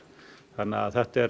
þannig að þetta er